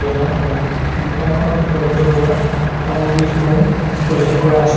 নিয়াৰখনত দোকানখনত উপলব্ধ হোৱা সামগ্ৰীসমূহ উল্লেখ কৰা আছে।